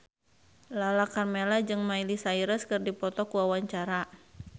Lala Karmela jeung Miley Cyrus keur dipoto ku wartawan